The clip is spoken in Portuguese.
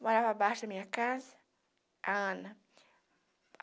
Morava abaixo da minha casa, a Ana.